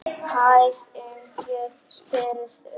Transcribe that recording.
Hvernig spyrðu.